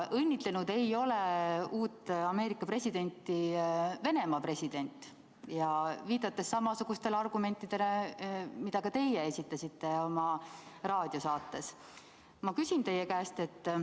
Õnnitlenud ei ole uut Ameerika presidenti Venemaa president, viidates samasugustele argumentidele, mida ka teie oma raadiosaates esitasite.